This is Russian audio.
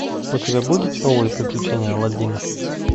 у тебя будет новые приключения аладдина